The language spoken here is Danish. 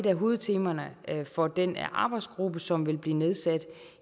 af hovedtemaerne for den arbejdsgruppe som vil blive nedsat